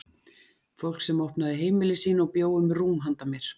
Fólk sem opnaði heimili sín og bjó um rúm handa mér.